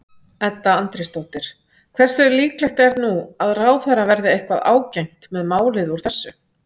Edda Andrésdóttir: Hversu líklegt er nú að ráðherra verði eitthvað ágengt með málið úr þessu?